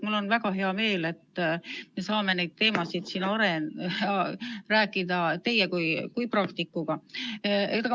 Mul on väga hea meel, et me saame neid teemasid siin arutada teie kui praktikuga.